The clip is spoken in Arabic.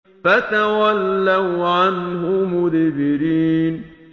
فَتَوَلَّوْا عَنْهُ مُدْبِرِينَ